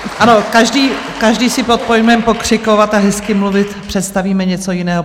Ano, každý si pod pojmem pokřikovat a hezky mluvit představíme něco jiného.